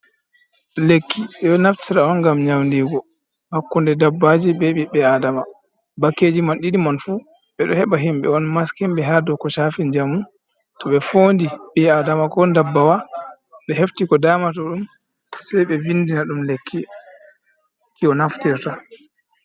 Lekki ɓeɗo naftira on gam nyaudigu hakkunde dabbaji be ɓiɓɓe e adama, bakeji man ɗidi man fu ɓe ɗo heɓa himɓɓe on maskiɓe ha douko chafi jamu to ɓe fondi ɓi adama ko dabbawa ɓe hefti ko damato ɗum sei ɓe vindina ɗum lekki ki o naftirta.